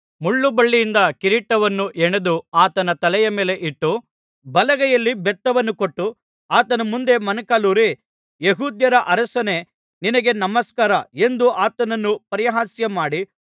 ಮುಳ್ಳುಬಳ್ಳಿಯಿಂದ ಕಿರೀಟವನ್ನು ಹೆಣೆದು ಆತನ ತಲೆಯ ಮೇಲೆ ಇಟ್ಟು ಬಲಗೈಯಲ್ಲಿ ಬೆತ್ತವನ್ನು ಕೊಟ್ಟು ಆತನ ಮುಂದೆ ಮೊಣಕಾಲೂರಿ ಯೆಹೂದ್ಯರ ಅರಸನೇ ನಿನಗೆ ನಮಸ್ಕಾರ ಎಂದು ಆತನನ್ನು ಪರಿಹಾಸ್ಯಮಾಡಿ